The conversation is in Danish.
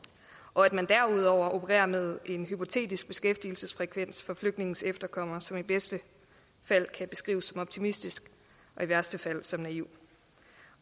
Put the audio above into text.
og at man derudover opererer med en hypotetisk beskæftigelsesfrekvens for flygtningenes efterkommere som i bedste fald kan beskrives som optimistisk og i værste fald som naiv